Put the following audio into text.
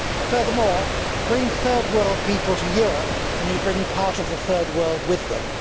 Furthermore, bring Third World people to Europe and you bring part of the Third World with them.